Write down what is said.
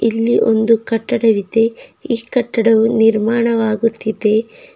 ಇಲ್ಲಿ ಒಂದು ಕಟ್ಟಡವಿದೆ ಈ ಕಟ್ಟಡವು ನಿರ್ಮಾಣವಾಗುತ್ತಿದೆ.